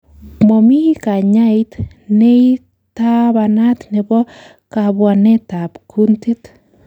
Momi kanyait neitabanat nebo kabwanetab kuntit.